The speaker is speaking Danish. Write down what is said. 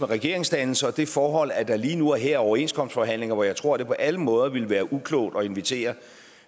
regeringsdannelsen og det forhold at der lige nu og her er overenskomstforhandlinger hvor jeg tror det på alle måder ville være uklogt at invitere